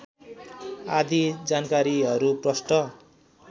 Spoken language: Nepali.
आदि जानकारीहरू प्रष्ट